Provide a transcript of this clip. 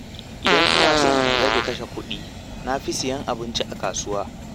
Idan ina so in rage kashe kuɗi na fi siyan abinci a kasuwa.